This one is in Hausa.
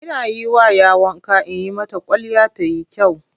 Ina yi wa 'ya wanka in yi mata kwalliya ta yi kyau.